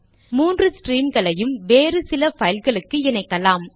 மூன்று ஸ்ட்ரீம்களையும் வேறு சில பைல்களுக்கு இணைக்கலாம்